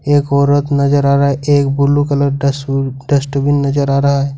एक औरत नजर आ रहा है एक ब्लू कलर डस्ट डस्टबिन नजर आ रहा है।